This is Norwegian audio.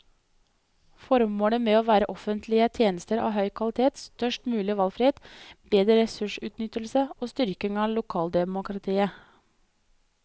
Formålet må være offentlige tjenester av høy kvalitet, størst mulig valgfrihet, bedre ressursutnyttelse og styrking av lokaldemokratiet.